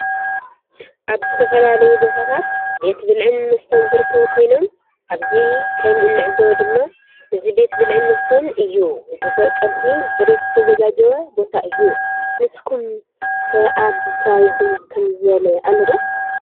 አብ ዝተፈላለዩ ቦታታት ቤት ብልዕን መስተን ዝርከቡ ኮይኖም አብዚ ከም እንዕዞቦ ድማ እዚ ቤት ብልዕን መስተን እዩ። ንተጠቀምቲ ብፅሬት ዝተዛጋጀዉ ቦታ እዩ። ንስኩመ ከአብ ከባቢኩም ከምዚ ዝበለ አሎ ዶ?